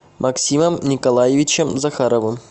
максимом николаевичем захаровым